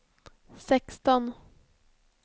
sexton